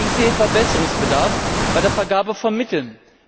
Ich sehe Verbesserungsbedarf bei der Vergabe von Mitteln.